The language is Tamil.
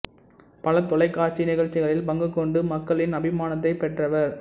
பல தொலைக்காட்சி நிகழ்ச்சிகளில் பங்குக் கொண்டு மக்களின் அபிமானத்தைப் பெற்றவர்